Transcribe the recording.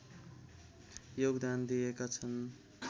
योगदान दिएका छन्